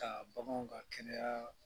Ka bagan ka kɛnɛyaa